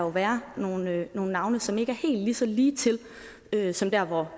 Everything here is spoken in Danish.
være nogle navne som ikke er helt så lige til som der hvor